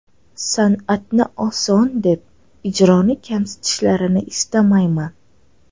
San’atni oson deb, ijroni kamsitishlarini istamayman.